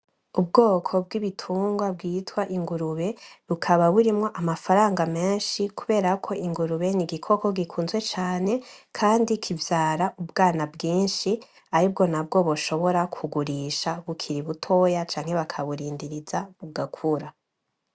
Ubwoko bw' ibitungwa bwitwa ingurube bukaba burimwo amafaranga menshi, kuberako ingurube n'igikoko gikunzwe cane, kandi kivyara ubwana bwinshi aribwo nabwo boshobora kugurisha bukiri butoya canke bakaburindiriza bugakura.